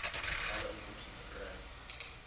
alle inkomste verkry